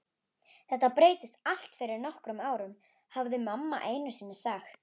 Þetta breyttist allt fyrir nokkrum árum, hafði mamma einusinni sagt.